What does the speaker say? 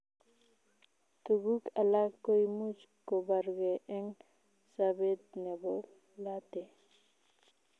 Tuguuk alaak koimuch kobargee en sabet neboo late